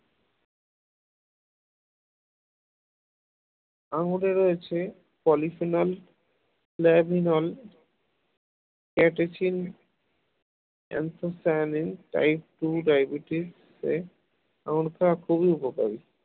আঙ্গুরে রয়েছে polyphenol luminol catechins anthocyanin type two diabetes এ আঙুর খাওয়া খুবই জরুরী